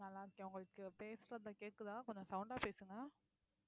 நல்லா இருக்கேன் உங்களுக்கு பேசுறது கேக்குதா கொஞ்சம் sound ஆ பேசுங்க